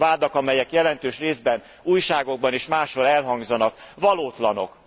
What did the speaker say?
Azok a vádak, amelyek jelentős részben újságokban és máshol elhangzanak, valótlanok.